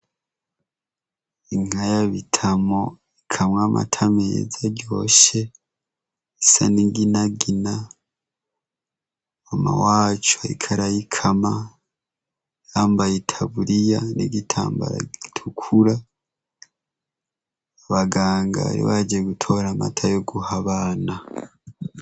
Inka ya Bitamo ikamwa amata meza aryoshe isa n' inginagina, mama wacu ariko arayikama, yambaye itaburiya n' igitambara gitukura. Abaganga bari baje gutora amata yo guha abana.